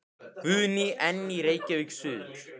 Guðný: En í Reykjavík suður?